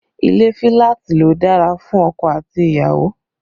Ilé filati ló dára fún ọkọ àti ìyàwó